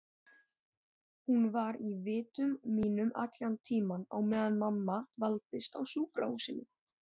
Hún var í vitum mínum allan tímann á meðan mamma dvaldist á sjúkrahúsinu.